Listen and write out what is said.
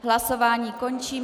Hlasování končím.